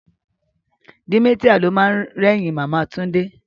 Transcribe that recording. Dementia lo ma rẹ́yìn Màmá Túndé